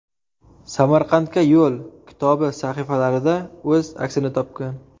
Samarqandga yo‘l” kitobi sahifalarida o‘z aksini topgan.